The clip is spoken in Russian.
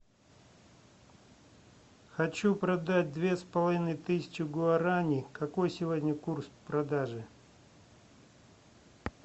хочу продать две с половиной тысячи гуарани какой сегодня курс продажи